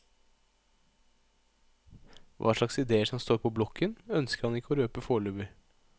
Hva slags idéer som står på blokken ønsker han ikke å røpe foreløpig.